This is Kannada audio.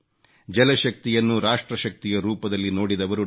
ಜಲಶಕ್ತಿಯನ್ನು ರಾಷ್ಟ್ರಶಕ್ತಿಯ ರೂಪದಲ್ಲಿ ನೋಡಿದವರು ಡಾ